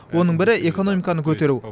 оның бірі экономиканы көтеру